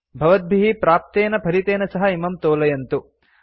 भवद्भिः प्राप्तेन फलितेन सह इमं तोलयन्तु